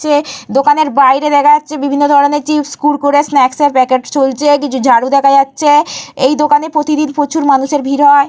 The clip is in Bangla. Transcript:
চে দোকানের বাইরে দেখা যাচ্ছে বিভিন্ন ধরণের চিপস কুড়কুড়ে স্ন্যাকসের প্যাকেট ঝুলছে। কিছু ঝাড়ু দেখা যাচ্ছে। এই দোকানে প্রতিদিন প্রচুর মানুষের ভিড় হয়।